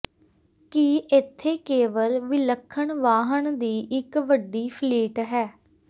ਕਿ ਇਥੇ ਕੇਵਲ ਵਿਲੱਖਣ ਵਾਹਨ ਦੀ ਇੱਕ ਵੱਡੀ ਫਲੀਟ ਹੈ